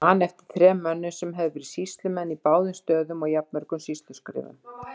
Ég man eftir þrem mönnum sem höfðu verið sýslumenn á báðum stöðum og jafnmörgum sýsluskrifurum.